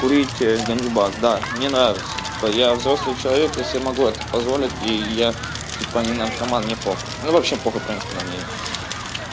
курить ганджубас да мне нравится типа я взрослый человек я себе могу это позволить и я типа не наркоман не похуй ну вообще похуй в принципе на мнение